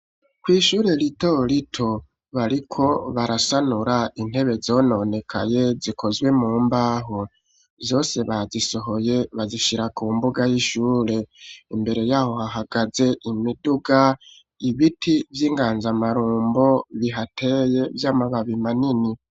Kw'ishure ritorito bariko barasanura intebe zononekaye zikozwe mu mbaho, zose bazisohoye bazishira ku mbuga y'ishure, imbere yaho hahagaze imiduga ibiti vy'inganzamarombo bihateye vy'amababi manini.